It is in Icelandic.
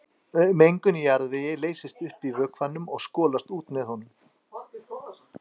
Mengun í jarðvegi leysist upp í vökvanum og skolast úr með honum.